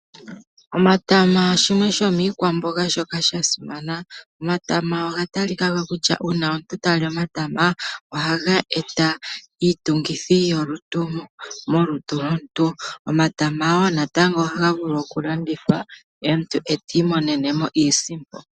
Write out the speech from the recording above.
Omatama shimwe shomiikwamboga shoka sha simana. Omatama oga talika ko kutya uuna omuntu ta li omatama oha ga e ta iitungithi yolutu molutu lwomuntu. Omatama wo natango oha ga vulu oku landithwa omuntu ta imonene iisimpo.